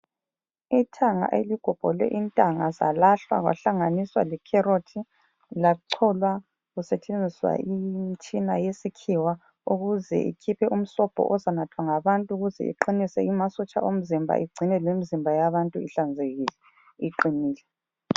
Ithanga eligobholwe intanga zalahlwa kwahlanganiswa lekherothi, lacholwa kusetshenziswa imitshina yesikhiwa ukuze ikhiphe umsobho ozanathwa ngabantu ukuze iqinise amasotsha omzimba igcine lemizimba yabantu ihlanzekile, iqinile.